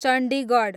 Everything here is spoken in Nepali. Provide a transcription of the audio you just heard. चण्डीगढ